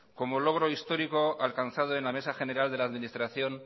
como logro histórico alcanzado en la mesa general de la administración